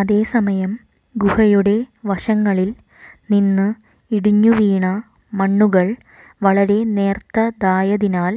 അതേ സമയം ഗുഹയുടെ വശങ്ങളിൽ നിന്ന് ഇടിഞ്ഞുവീണ മണ്ണുകൾ വളരെ നേർത്തതായതിനാൽ